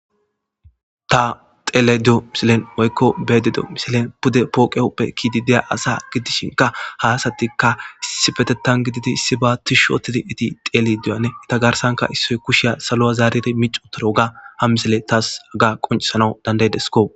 Ta xelayda deyo misilen woy beyada diyo misilen pude poqe huphe kizidi diyo misile dishinka issippetitan gididi issiba tishi otido issoy kushiya salo zaridi denthi wothidoga ha misiley tas qoncisanaw dandayidesko